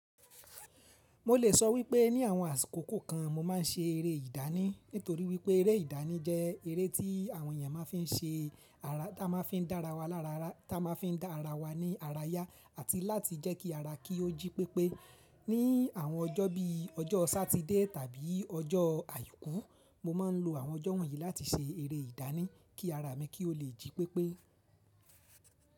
Mo lè sọ wípé ní àwọn àsìkòko kan mo ma n ṣe eré ìdánì, nítorí wípé eré ìdánì jẹ́ eré tí àwọn èèyàn ma fi n ṣe- ara, tí a ma fi n dá ara wa lára ya tí a ma fi dá ara wa ní ara yá àti láti jẹ́ kí ara kí ó jí pépé. Ní àwọn ọjọ́ bí ọjọ́ Sátidé tàbí ọjọ́ Àìkú mo ma n lo àwọn ọjọ́ wọ̀nyí láti ṣe eré ìdánì, kí ara mi kí ó le jí pépé.